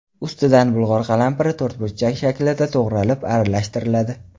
Ustidan bulg‘or qalampiri to‘rtburchak shaklda to‘g‘ralib, aralashtiriladi.